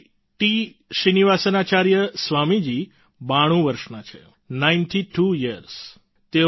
Shri T Srinivasacharya Swami ji 92 વર્ષના છે ninety two years